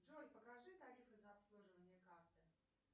джой покажи тарифы за обслуживание карты